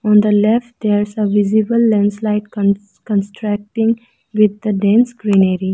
On the left there is a visible landslide cons-constructing with the dense greenery.